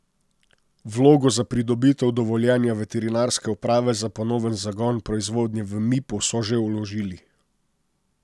Vlogo za pridobitev dovoljenja veterinarske uprave za ponoven zagon proizvodnje v Mipu so že vložili.